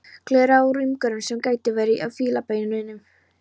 Gleraugu í umgerð sem gæti verið úr fílabeini.